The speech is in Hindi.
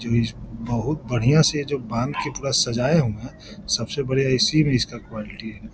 जो इस बहुत बढ़ियाँ से जो ये बाँध के पूरा सजाए होंगे सबसे बढ़िया इसी में इसका क्वालिटी है |